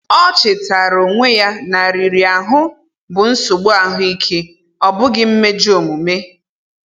Ọ chetara onwe ya na riri ahụ bụ nsogbu ahụike, ọ bụghị mmejọ omume.